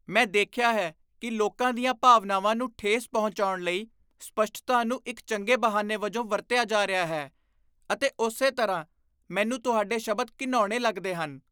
ਮੈਂ ਦੇਖਿਆ ਹੈ ਕਿ ਲੋਕਾਂ ਦੀਆਂ ਭਾਵਨਾਵਾਂ ਨੂੰ ਠੇਸ ਪਹੁੰਚਾਉਣ ਲਈ ਸਪੱਸ਼ਟਤਾ ਨੂੰ ਇੱਕ ਚੰਗੇ ਬਹਾਨੇ ਵਜੋਂ ਵਰਤਿਆ ਜਾ ਰਿਹਾ ਹੈ ਅਤੇ ਉਸੇ ਤਰ੍ਹਾਂ, ਮੈਨੂੰ ਤੁਹਾਡੇ ਸ਼ਬਦ ਘਿਣਾਉਣੇ ਲੱਗਦੇ ਹਨ।